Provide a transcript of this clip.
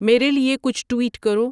میرے لیے کچھ ٹویٹ کرو